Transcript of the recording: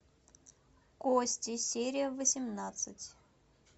кости серия восемнадцать